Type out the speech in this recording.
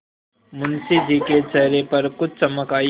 मुंशी जी के चेहरे पर कुछ चमक आई